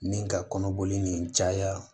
Ni ka kɔnɔboli nin caya